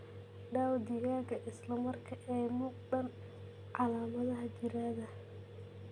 daaw digaagga isla marka ay ka muuqdaan calaamadaha jirrada.